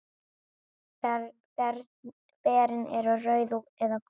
Berin eru rauð eða gul.